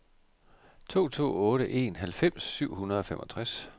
to to otte en halvfems syv hundrede og femogtres